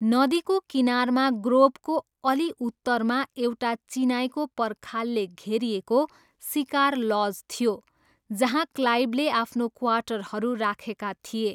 नदीको किनारमा ग्रोभको अलि उत्तरमा एउटा चिनाईको पर्खालले घेरिएको सिकार लज थियो जहाँ क्लाइभले आफ्नो क्वार्टरहरू राखेका थिए।